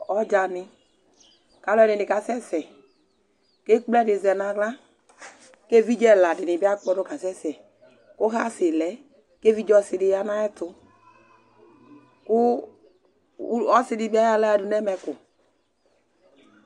Ɔdzani, ku alu ɛdini kasɛsɛ, ku ekple ɛdi zɛ nu aɣla, ku evidze ɛla di ni bi akpɔdu kasɛsɛ, ku hasi lɛ , ku evidze ɔsi di ya nu ayɛtu, ku u, ɔsi di bi ayɔ aɣla yadu nu ɛmɛku